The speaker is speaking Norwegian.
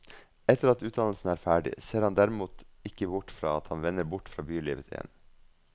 Etter at utdannelsen er ferdig, ser han derimot ikke bort fra at han vender bort fra bylivet igjen.